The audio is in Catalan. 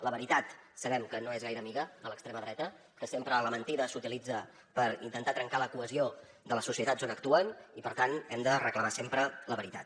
la veritat sabem que no és gaire amiga de l’extrema dreta que sempre la mentida s’utilitza per intentar trencar la cohesió de les societats on actuen i per tant hem de reclamar sempre la veritat